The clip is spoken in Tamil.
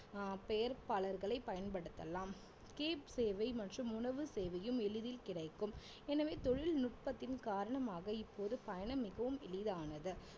ஆஹ் பெயர்ப்பாளர்களை பயன்படுத்தலாம் cab சேவை மற்றும் உணவு சேவையும் எளிதில் கிடைக்கும் எனவே தொழில்நுட்பத்தின் காரணமாக இப்போது பயணம் மிகவும் எளிதானது